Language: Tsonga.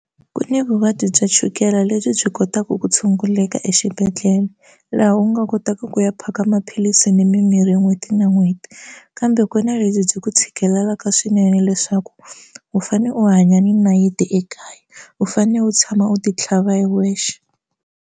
Ku ni vuvabyi bya chukele lebyi byi kotaka ku tshunguleka exibedhlele laha u nga kotaka ku ya phaka maphilisi ni mimirhi n'hweti na n'hweti kambe ku na lebyi byi ku tshikelelaka swinene leswaku u fane u hanya ni nayiti ekaya u fanele u tshama u ti tlhava hi wexe.